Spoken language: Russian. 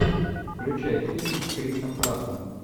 включай фильм с крисом праттом